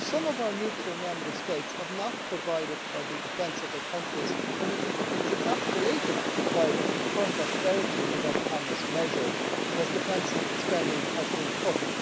Some of our neutral Member States have not provided for the defence of their countries and it is exacerbated by the current austerity measures', because defence spending has been cut.